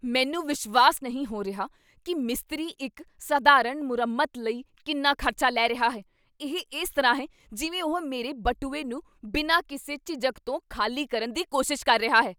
ਮੈਨੂੰ ਵਿਸ਼ਵਾਸ ਨਹੀਂ ਹੋ ਰਿਹਾ ਕੀ ਮਿਸਤਰੀ ਇੱਕ ਸਧਾਰਨ ਮੁਰੰਮਤ ਲਈ ਕਿੰਨਾ ਖ਼ਰਚਾ ਲੈ ਰਿਹਾ ਹੈ! ਇਹ ਇਸ ਤਰ੍ਹਾਂ ਹੈ ਜਿਵੇਂ ਉਹ ਮੇਰੇ ਬਟੂਏ ਨੂੰ ਬਿਨਾਂ ਕਿਸੇ ਝਿਜਕ ਤੋਂ ਖਾਲੀ ਕਰਨ ਦੀ ਕੋਸ਼ਿਸ਼ ਕਰ ਰਿਹਾ ਹੈ!